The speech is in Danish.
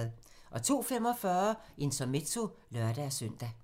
02:45: Intermezzo (lør-søn)